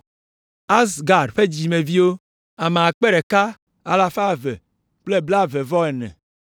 Azgad ƒe dzidzimeviwo, ame akpe ɖeka alafa eve kple blaeve-vɔ-ene (1,222).